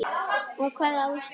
Af hvaða ástæðu?